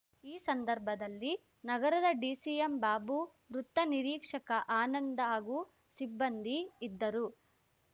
ಈ ಸಂದರ್ಭದಲ್ಲಿ ನಗರದ ಡಿಸಿ ಎಂಬಾಬು ವೃತ್ತ ನಿರೀಕ್ಷಕ ಆನಂದ್‌ ಹಾಗೂ ಸಿಬ್ಬಂದಿ ಇದ್ದರು